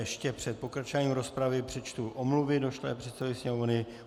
Ještě před pokračováním rozpravy přečtu omluvy došlé předsedovi Sněmovny.